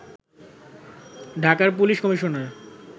ঢাকার police commissioner